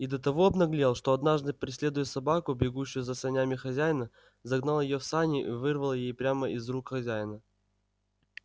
и до того обнаглел что однажды преследуя собаку бегущую за санями хозяина загнал её в сани и вырвал ей прямо из рук хозяина